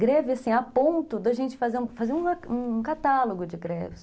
Greve, assim, a ponto de a gente fazer um catálogo de greves.